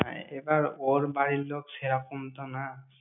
হ্যাঁ, এবার ওর বাড়ির লোক সেরকম তো না।